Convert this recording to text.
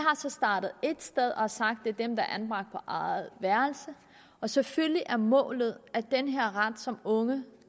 så startet et sted og har sagt er dem der er anbragt på eget værelse og selvfølgelig er målet at den her ret som unge